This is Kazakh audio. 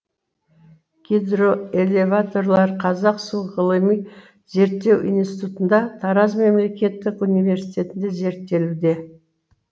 гидроэлеваторлар қазақ су ғылыми зерттеу институтында тараз мемлекеттік университетінде зерттелуде